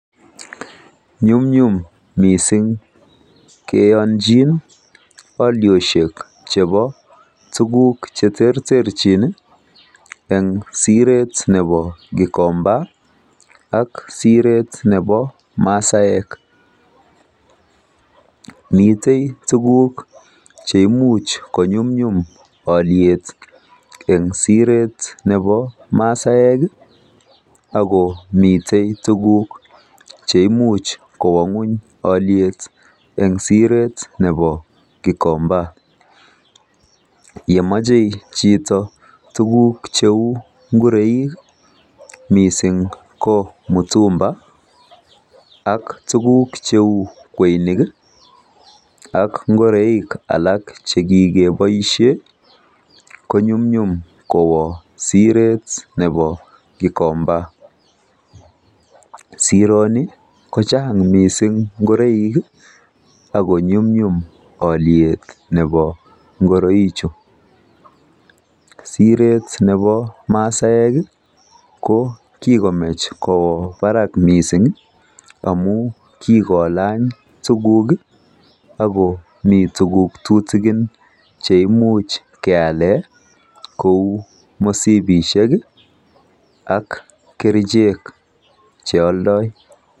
Nyumnyum missing' keyanchin alioshek chepo tuguk che terterchin eng' siret nepo Gikomba ak siret nepo masaek. Mitei tuguk che imuch konyumnyum aliet eng' siret nepo masaek ako mitei tuguk che imuch kowa ng'uny aliet eng' siret nepo Gikomba. Ye machei chito tuguk cheu ngoroik, missing' ko mtumba, ak kweinik ak ngoroik alak che kikepaishe konyumnyum kowa siret nepo Gikomba. Sirani ko chang' missing' ngoroil ako nyumnyum aliet nepo ngoroichu. Siret nepo masaek ko kikomach kowa parak missing' amu kikolany tuguk ako mitei tuguk tutikin che imuch keale kou mosipishek ak kerichek che aldai.